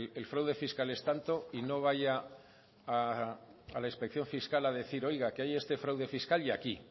el fraude fiscal es tanto y no vaya a la inspección fiscal a decir oiga que hay este fraude fiscal y aquí